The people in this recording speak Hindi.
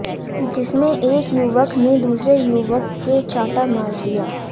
जिसमें एक युवक ने दूसरे युवक के चांटा मार दिया